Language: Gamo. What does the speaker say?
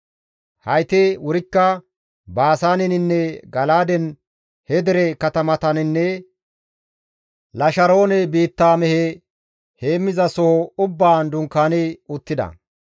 Hayti wurikka Baasaaneninne Gala7aaden he dere katamataninne Lasharoone biitta mehe heemmizasoho ubbaan dunkaani uttida.